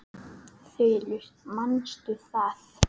Þulur: Manstu það?